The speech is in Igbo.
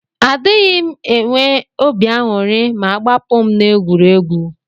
Adighim enwe obi anyuri ma agbapum na egwuregwu.